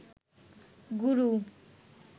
গুরু